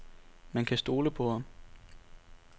Man kan stole på ham.